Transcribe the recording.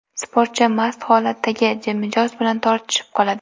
Sportchi mast holatdagi mijoz bilan tortishib qoladi.